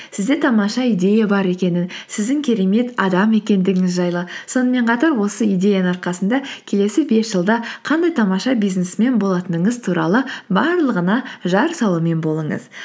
сізде тамаша идея бар екенін сіздің керемет адам екендігіңіз жайлы сонымен қатар осы идеяның арқасында келесі бес жылда қандай тамаша бизнесмен болатыныңыз туралы барлығына жар салумен болыңыз